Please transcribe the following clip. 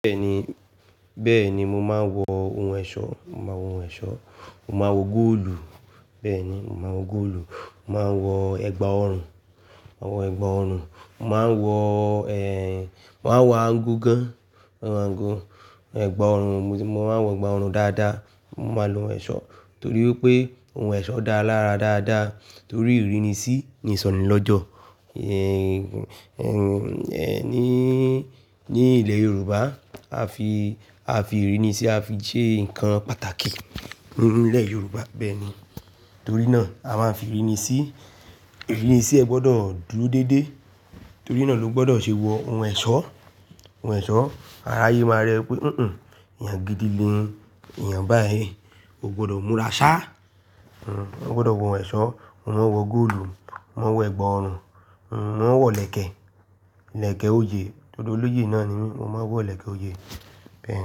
Bẹ́ẹ̀ni, bẹ́ẹ̀ni mo máa ń wọ ohun ẹ̀ṣọ́, mo máa ń wọ ohun ẹ̀ṣọ́, mo máa ń wọ góòlù. Bẹ́ẹ̀ni, mo máa ń wọ góòlù, mo máa ń wọ ẹ̀gbà ọrùn, àwọn ẹ̀gbà ọrùn, mo máa ń wọ, ẹ, mo máa ń wọ aago gan an, mo máa ń wọ aago, ẹ̀gbà ọrùn, mo máa ń wọ ẹ̀gbà ọrùn dáadáa, Mọ máa ń lọ ohun ẹ̀ṣọ́ torí pé ohun ẹ̀ṣọ́ dá lára dáadáa torí ìrínisí ni ìsọ̀ní lọ́jọ́. Ẹ ní, ní ilẹ̀ Yorùbá a fi, a fi ìrínisí a fi ṣe nǹkan pàtàkì nílẹ̀ Yorùbá bẹ́ẹ̀ni. Torí náà a máa ń fi ìrínisí, ìrínisí ẹ gbọdọ̀ dúró dédé. Torí náà ló gbọdọ̀ ṣe wọ ohun ẹ̀ṣọ́, ohun ẹ̀ṣọ́. Aráyé máa rí ẹ pé "huhun, èèyàn gidi ni, èèyàn báyìí, ò gbọdọ̀ múra ṣá. Ah, o gbọdọ̀ wọ ohun ẹ̀ṣọ́, ọ máa ń wọ góòlù, ọ máa ń wọ ẹ̀gbà ọrùn, mọ máa ń wọ ilèkè, ilèkè òyé. Odò olóyè náà ni mí mo máa ń wọ ilèkè òyé. Bẹ́ẹ̀ni.